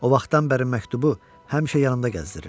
O vaxtdan bəri məktubu həmişə yanımda gəzdirirəm.